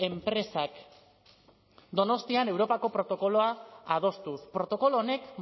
enpresak donostian europako protokoloa adostuz protokolo honek